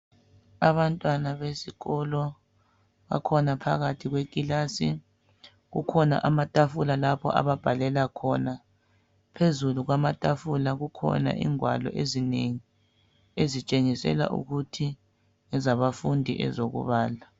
Abantwana besikolo bakhona phakathi kwe kilasi kukhona amatafula lapho ababhalela khona, phezulu kwama tafula kukhona ingwalo ezinengi ezitshengisela ukuthi ngezabafundi ezokubala.